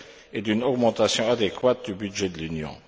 et d'une augmentation adéquate du budget de l'Union.